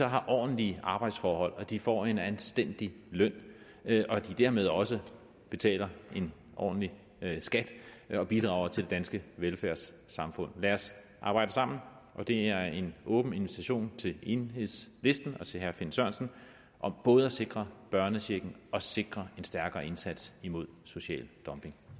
har ordentlige arbejdsforhold og at de får en anstændig løn og at de dermed også betaler en ordentlig skat og bidrager til det danske velfærdssamfund lad os arbejde sammen og det er en åben invitation til enhedslisten og til herre finn sørensen om både at sikre børnechecken og sikre en stærkere indsats imod social dumping